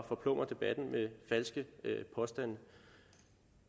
forplumre debatten med falske påstande